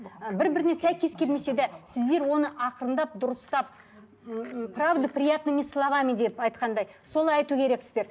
ы бір біріне сәйкес келмесе де сіздер оны ақырындап дұрыстап м правду приятными словами деп айтқандай солай айту керексіздер